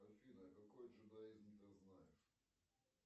афина какой джедаизм ты знаешь